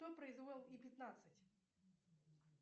кто произвел и пятнадцать